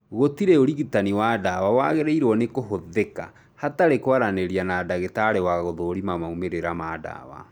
Gũtirĩ ũrigitani wa ndawa wagĩrĩirwo nĩkũhũthĩka hatarĩ kwaranĩria na ndagĩtarĩ wa gũthũrima maumĩrĩra ma ndawa